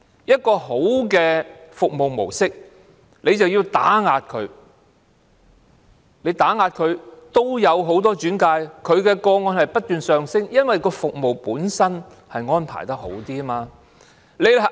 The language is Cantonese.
一個良好的服務模式卻被打壓，即使被打壓，它仍然收到很多轉介個案，接獲的個案數目不斷上升，因為服務本身的安排比較好。